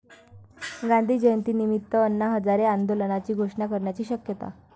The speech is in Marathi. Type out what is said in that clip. गांधी जयंतीनिमित्त अण्णा हजारे आंदोलनाची घोषणा करण्याची शक्यता